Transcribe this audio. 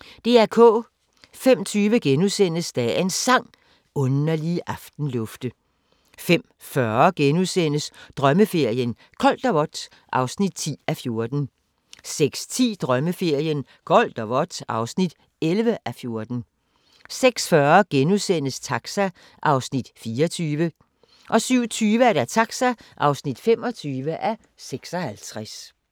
05:20: Dagens Sang: Underlige aftenlufte * 05:40: Drømmeferien: Koldt og vådt (10:14)* 06:10: Drømmeferien: Koldt og vådt (11:14) 06:40: Taxa (24:56)* 07:20: Taxa (25:56) 08:25: Dagens sang: Mit hjerte altid vanker 09:20: Hvornår var det nu, det var? 09:50: Hvornår var det nu, det var? 10:50: Vores verden gennem 500 år (6:6)* 11:45: Britiske slotte: Burghley House (1:6)